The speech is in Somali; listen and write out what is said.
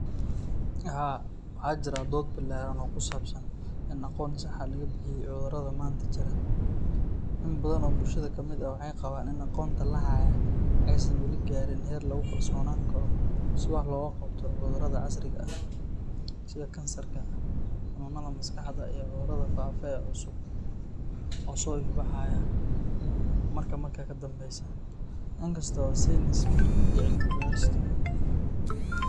Haa, waxaa jirta dood ballaaran oo ku saabsan in aqoon sax ah laga bixiyay cudurrada maanta jira. In badan oo bulshada ka mid ah waxay qabaan in aqoonta la hayaa aysan weli gaarin heer lagu kalsoonaan karo si wax looga qabto cudurrada casriga ah sida kansarka, xanuunnada maskaxda, iyo cudurrada faafa ee cusub oo soo ifbaxaya marba marka ka dambaysa. Inkasta oo sayniska iyo cilmi baarista.